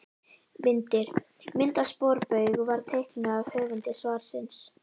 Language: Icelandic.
Myndir: Mynd af sporbaug var teiknuð af höfundi svarsins.